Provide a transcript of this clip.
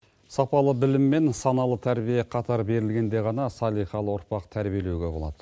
сапалы білім мен саналы тәрбие қатар берілгенде ғана салиқалы ұрпақ тәрбиелеуге болады